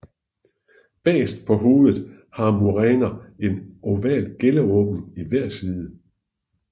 Bagerst på hovedet har muræner en oval gælleåbning i hver side